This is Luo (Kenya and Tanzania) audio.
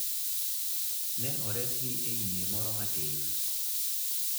Ne oresgi e yie moro matin.